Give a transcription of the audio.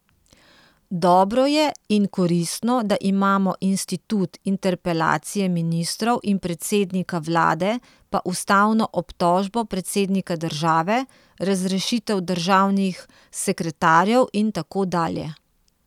Dobro je in koristno, da imamo institut interpelacije ministrov in predsednika vlade pa ustavno obtožbo predsednika države, razrešitev državnih sekretarjev in tako dalje.